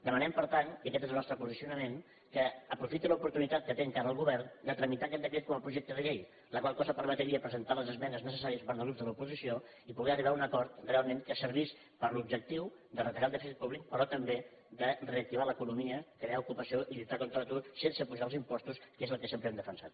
demanem per tant i aquest és el nostre posicionament que aprofitin l’oportunitat que té encara el govern de tramitar aquest decret com a projecte de llei la qual cosa permetria presentar les esmenes necessàries per part dels grups de l’oposició i poder arribar a un acord realment que servís per a l’objectiu de retallar el dèficit públic però també de reactivar l’economia crear ocupació i lluitar contra l’atur sense apujar els impostos que és el que sempre hem defensat